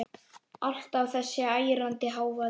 Alltaf þessi ærandi hávaði.